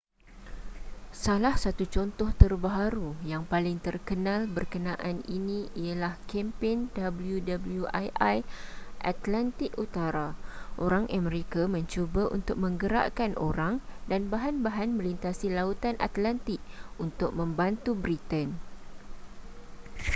salah satu contoh terbaharu yang paling terkenal berkenaan ini ialah kempen wwii atlantik utara orang amerika mencuba untuk menggerakkan orang dan bahan-bahan melintasi lautan atlantik untuk membantu britain